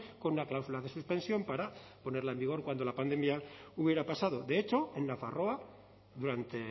con una cláusula de suspensión para ponerla en vigor cuando la pandemia hubiera pasado de hecho en nafarroa durante